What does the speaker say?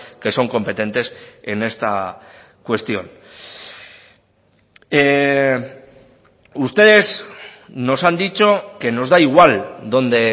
que son competentes en esta cuestión ustedes nos han dicho que nos da igual dónde